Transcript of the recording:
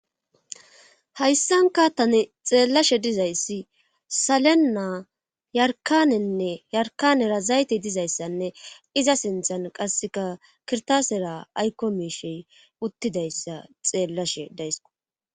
hayssan kaattane xeellashe dizayssi salena yarkanenne yarkanera zayte dizayssanne iza sinthan qasseka kirtasera aykko meishey uttidayssa xeellashe daysko